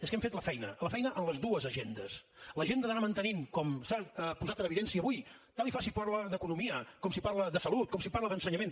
és que hem fet la feina la feina en les dues agendes l’agenda d’anar mantenint com s’ha posat en evidència avui tant li fa si parla d’economia com si parla de salut com si parla d’ensenyament